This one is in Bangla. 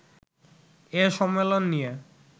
এ সম্মেলন নিয়ে